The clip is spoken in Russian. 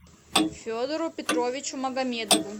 федору петровичу магомедову